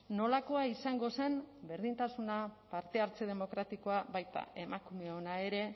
nolakoa izango zen berdintasuna parte hartze demokratikoa baita emakumeona ere